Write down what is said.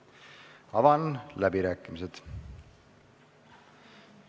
Avan läbirääkimised.